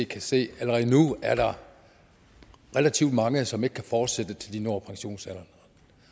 kan se at der er relativt mange som ikke kan fortsætte til de når pensionsalderen